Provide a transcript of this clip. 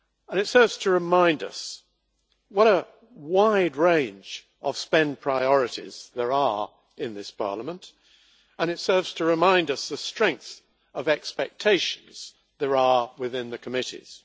It serves to remind us what a wide range of spending priorities there are in this Parliament and it serves to remind us of the strength of expectations there are within the committees.